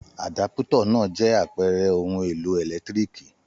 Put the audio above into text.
Àdápútọ̀ náà jẹ́ àpẹẹrẹ ohun-èlò ẹ̀lẹ́tíríkì.